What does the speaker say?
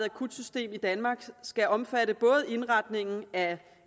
akutsystem i danmark skal omfatte både indretningen af